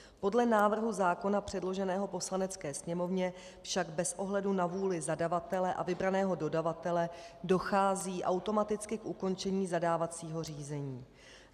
Podle návrhu zákona předloženého Poslanecké sněmovně však bez ohledu na vůli zadavatele a vybraného dodavatele dochází automaticky k ukončení zadávacího řízení.